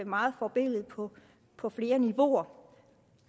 meget forbilledligt på på flere niveauer